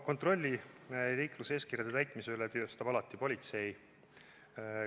Kontrolli liikluseeskirjade täitmise üle teostab alati politsei.